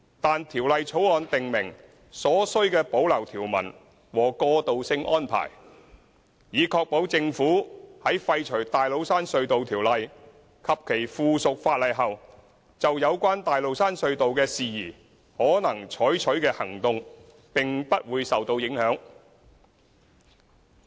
但《條例草案》訂明所需的保留條文和過渡性安排，以確保政府在廢除《大老山隧道條例》及其附屬法例後，就有關大老山隧道的事宜可能採取的行動並不會受到影響。